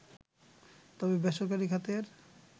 তবে বেসরকারি খাতের